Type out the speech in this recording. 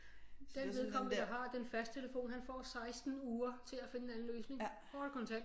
Den vedkommende der har den fastnettelefon han får 16 uger til at finde en anden løsning kort og kontant